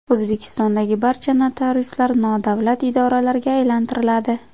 O‘zbekistondagi barcha notariuslar nodavlat idoralarga aylantiriladi.